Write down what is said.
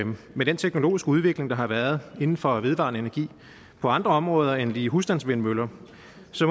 med den teknologiske udvikling der har været inden for vedvarende energi på andre områder end lige husstandsvindmøller